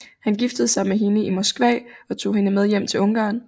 Han giftede sig med hende i Moskva og tog hende med hjem til Ungarn